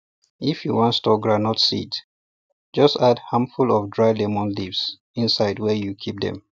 if you wan store groundnut seeds just add handful of dry lemon leaves inside where you keep dem